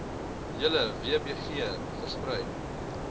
hele wbg versprei